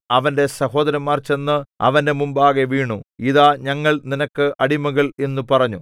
അവന്റെ സഹോദരന്മാർ ചെന്ന് അവന്റെ മുമ്പാകെ വീണു ഇതാ ഞങ്ങൾ നിനക്ക് അടിമകൾ എന്നു പറഞ്ഞു